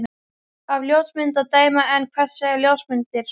Af ljósmynd að dæma. en hvað segja ljósmyndir?